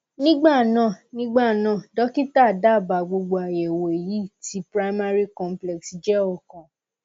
nígbà náà nígbà náà dọkítà dábàá gbogbo àyẹwò èyí tí primary complex jẹ ọkan